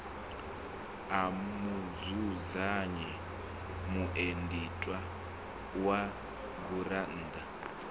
a mudzudzanyi mueditha wa gurannḓa